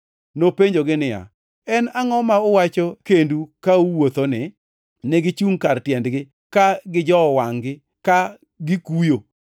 Nopenjogi niya, “En angʼo ma uwacho kendu ka uwuothoni?” Negichungʼ kar tiendgi, ka gijowo wangʼ-gi ka gikuyo.